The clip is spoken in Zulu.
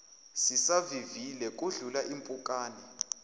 sisavivile kudlula impukane